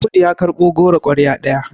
Audu ya karɓo goro kwarya ɗaya